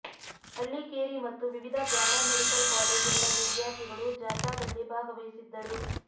ಹಳ್ಳಿಕೇರಿ ಮತ್ತು ವಿವಿಧ paramedical ಕಾಲೇಜುಗಳ ವಿದ್ಯಾರ್ಥಿಗಳು ಜಾಥಾದಲ್ಲಿ ಭಾಗವಹಿಸಿದ್ದರು